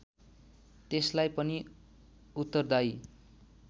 त्यसलाई पनि उत्तरदायी